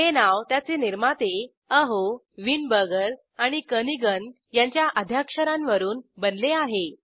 हे नाव त्याचे निर्माते अहो वाइनबर्गर आणि केर्निघन यांच्या आद्याक्षरांवरून बनले आहे